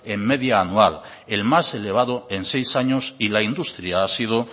en media anual el más elevado en seis años y la industria ha sido